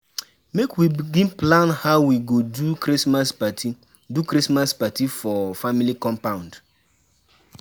Make we begin plan how we go do Christmas party do Christmas party for family compound.